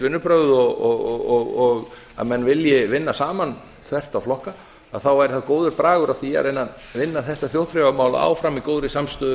vinnubrögð og að menn vilji vinna saman þvert á flokka að þá væri það góður bragur á því að reyna að vinna þetta þjóðþrifamál áfram í góðri samstöðu